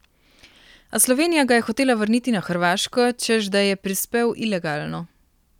A Slovenija ga je hotela vrniti na Hrvaško, češ da je prispel ilegalno.